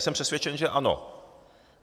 Jsem přesvědčen, že ano.